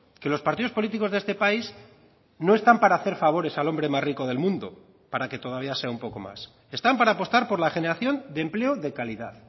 que los partidos políticos de este país no están para hacer favores al hombre más rico del mundo para que todavía sea un poco más están para apostar por la generación de empleo de calidad